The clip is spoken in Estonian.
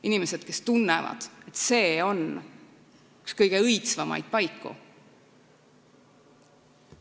Inimesed, kes tunnevad, et see on üks kõige õitsvamaid paiku.